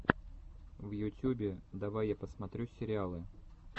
в ютюбе давай я посмотрю сериалы